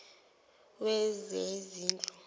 wezezindlu